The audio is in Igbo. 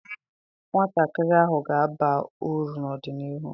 Nwatakịrị ahụ ga-aba uru n'ọdịnihu.